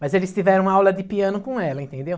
Mas eles tiveram aula de piano com ela, entendeu?